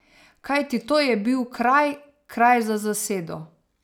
Kajti to je bil kraj, kraj za zasedo.